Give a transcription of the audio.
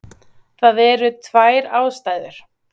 Það eru tvær ástæður.